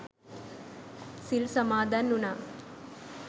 සිල් සමාදන් වුනා.